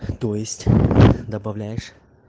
то есть добавляешь